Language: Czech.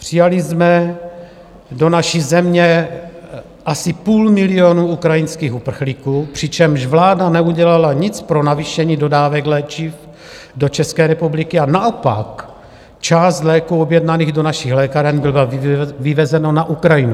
Přijali jsme do naší země asi půl milionu ukrajinských uprchlíků, přičemž vláda neudělala nic pro navýšení dodávek léčiv do České republiky a naopak část léků objednaných do našich lékáren bylo vyvezeno na Ukrajinu.